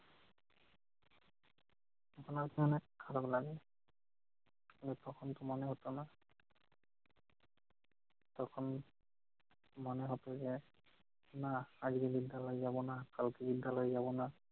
এখন আর কি অনেক খারাপ লাগে। তখন কী মনে হতো না? তখন মনে হতো যে না আজকে বিদ্যালয় যাব না কালকে বিদ্যালয় যাব না।